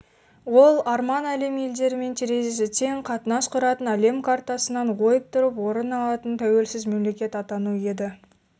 ол арман әлем елдерімен терезесі тең қатынас құратын әлем картасынан ойып тұрып орын алатын тәуелсіз мемлекет атану еді